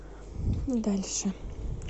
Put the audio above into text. дальше